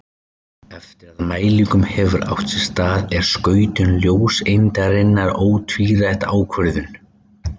Eftir að mælingin hefur átt sér stað er skautun ljóseindarinnar ótvírætt ákvörðuð.